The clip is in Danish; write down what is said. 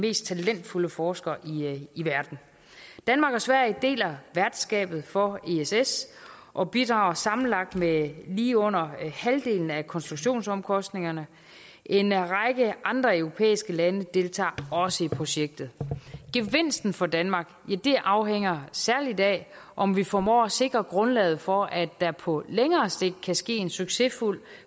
mest talentfulde forskere i verden danmark og sverige deler værtskabet for ess ess og bidrager sammenlagt med lige under halvdelen af konstruktionsomkostningerne en række andre europæiske lande deltager også i projektet gevinsten for danmark afhænger særlig af om vi formår at sikre grundlaget for at der på længere sigt kan ske en succesfuld